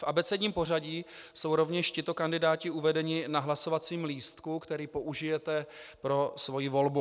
V abecedním pořadí jsou rovněž tito kandidáti uvedeni na hlasovacím lístku, který použijete pro svoji volbu.